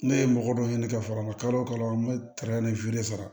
Ne ye mɔgɔ dɔ ɲini ka fara n ka kalo o kalo an bɛ sara